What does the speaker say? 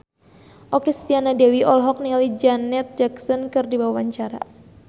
Okky Setiana Dewi olohok ningali Janet Jackson keur diwawancara